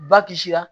Ba kisira